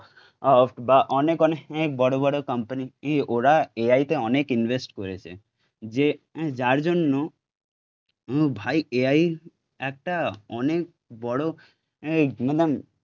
ফট বা অনেক অনেক বড় বড় কোম্পানি, ওরা এআই তে অনেক ইনভেস্ট করেছে, যে যার জন্য উম ভাই এআই একটা অনেক বড় এই মানে